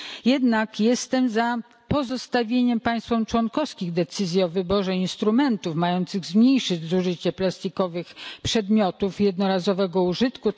Jednak jestem za pozostawieniem państwom członkowskim decyzji o wyborze instrumentów mających zmniejszyć zużycie plastikowych przedmiotów jednorazowego użytku.